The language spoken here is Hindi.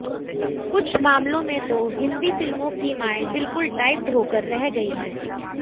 कुछ मामलों में तो हिन्दी फिल्मों की मांएं बिल्कुल टाइप्ड होकर रह गयी हैं